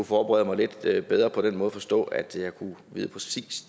forberede mig lidt bedre på den måde at forstå at jeg kunne vide